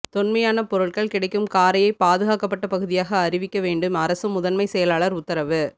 தொன்மையான பொருட்கள் கிடைக்கும் காரையை பாதுகாக்கப்பட்ட பகுதியாக அறிவிக்க வேண்டும் அரசு முதன்மை செயலாளர் உத்தரவு